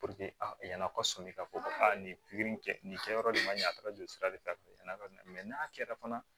a yann'a kɔ sɔmin ka fɔ ko aa nin pikiri in kɛ nin kɛ yɔrɔ nin ma ɲa a kɛra joli sira de ta ye n'a kɛra fana